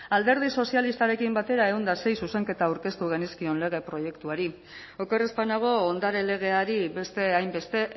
alderdi sozialistarekin batera ehun eta sei zuzenketa aurkeztu genizkion lege proiektuari oker ez banago ondare legeari beste hainbeste